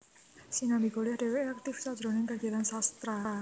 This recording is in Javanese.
Sinambi kuliah dhèwèké aktif sajroning kagiyatan sastra